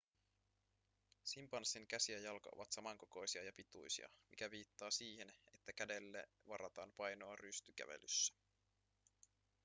simpanssin käsi ja jalka ovat samankokoisia ja pituisia mikä viittaa siihen että kädelle varataan painoa rystykävelyssä